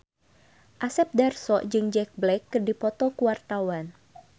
Asep Darso jeung Jack Black keur dipoto ku wartawan